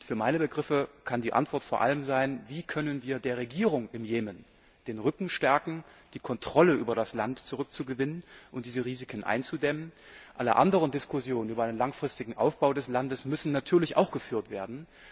Für meine Begriffe kann die Frge vor allem sein Wie können wir der Regierung im Jemen den Rücken stärken, die Kontrolle über das Land zurückzugewinnen und diese Risiken einzudämmen? Alle anderen Diskussionen über einen langfristigen Aufbau des Landes müssen natürlich auch geführt werden.